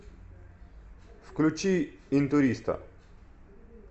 включи интуриста